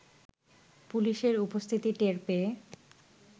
পুলিশের উপস্থিতি টের পেয়ে